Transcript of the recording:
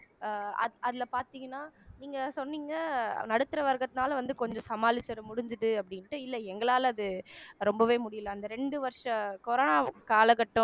அஹ் அது அதிலே பார்த்தீங்கன்னா நீங்க சொன்னீங்க நடுத்தர வர்க்கத்தினால வந்து கொஞ்சம் சமாளிச்சிட முடிஞ்சுது அப்படின்னுட்டு இல்ல எங்களால அது ரொம்பவே முடியலை அந்த ரெண்டு வருஷ corona காலகட்டம்